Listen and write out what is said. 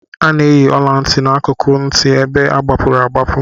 A na-eyi ọla ntị n'akụkụ ntị ebe agbapụrụ agbapu